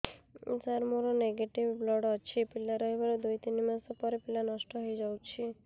ସାର ମୋର negative blood ଅଛି ପିଲା ରହିବାର ଦୁଇ ତିନି ମାସ ପରେ ପିଲା ନଷ୍ଟ ହେଇ ଯାଉଛି